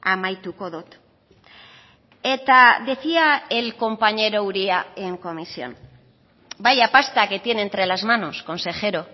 amaituko dut eta decía el compañero uria en comisión vaya pasta que tiene entre las manos consejero